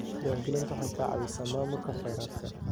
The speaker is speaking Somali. Diiwaangelintu waxay ka caawisaa maamulka kheyraadka.